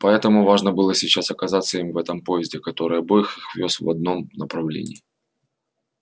поэтому важно было сейчас оказаться им в этом поезде который обоих их вёз в одном направлении